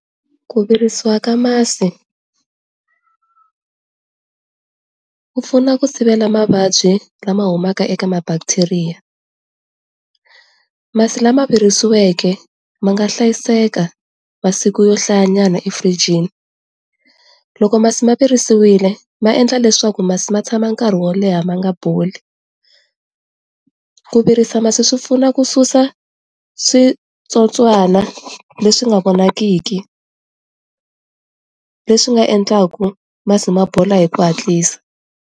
Ku virisiwa ka masi, ku pfuna ku sivela mavabyi lama humaka eka ma-bacteria. Masi lama virisiweke ma nga hlayiseka masiku yo hlayanyana efiriijini. Loko masi ma virisiwile ma endla leswaku masi ma tshama nkarhi wo leha ma nga boli, ku virisa masi swi pfuna ku susa switsotswana leswi nga vonakiki leswi nga endlaku masi ma bola hi ku hatlisa.